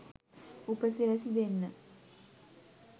උපසිරැසි දෙන්න.